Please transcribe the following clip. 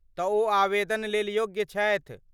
तऽ ओ आवेदन लेल योग्य छथि?